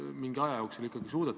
Muudatusettepanekuid ei esitatud.